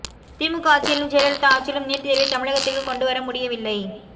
திமுக ஆட்சியிலும் ஜெயலலிதா ஆட்சியிலும் நீட் தேர்வை தமிழகத்தில் கொண்டு வர முடியவில்லை